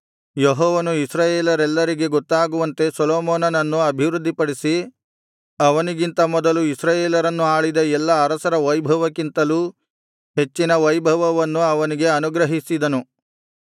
ಯೆಹೋವನು ಇಸ್ರಾಯೇಲರೆಲ್ಲರಿಗೆ ಗೊತ್ತಾಗುವಂತೆ ಸೊಲೊಮೋನನನ್ನು ಅಭಿವೃದ್ಧಿಪಡಿಸಿ ಅವನಿಗಿಂತ ಮೊದಲು ಇಸ್ರಾಯೇಲರನ್ನು ಆಳಿದ ಎಲ್ಲಾ ಅರಸರ ವೈಭವಕ್ಕಿಂತಲೂ ಹೆಚ್ಚಿನ ವೈಭವವನ್ನು ಅವನಿಗೆ ಅನುಗ್ರಹಿಸಿದನು